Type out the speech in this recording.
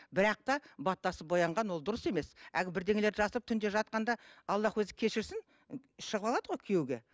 бірақ та баттасып боянған ол дұрыс емес әлгі бірдеңелерді жасырып түнде жатқанда аллах өзі кешірсін шығып алады ғой күйеуге